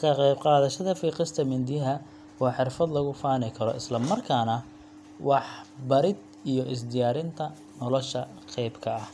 ka qayb qaadashada fiiqista mindiyaha waa xirfad lagu faani karo, isla markaana waxbarid iyo is diyaarinta nolosha qayb ka ah.